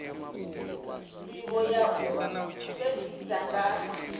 ndivho ya u fhedzisa nga